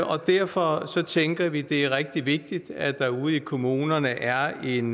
og derfor tænker vi det er rigtig vigtigt at der ude i kommunerne er en